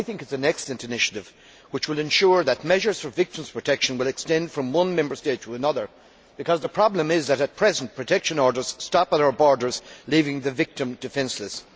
I think it is an excellent initiative which will ensure that measures for victims' protection will extend from one Member State to another, because the problem is that at present protection orders stop at our borders, leaving the victim defenceless.